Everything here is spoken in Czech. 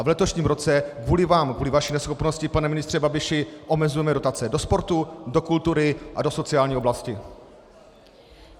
A v letošním roce kvůli vám, kvůli vaší neschopnosti, pane ministře Babiši, omezujeme dotace do sportu, do kultury a do sociální oblasti.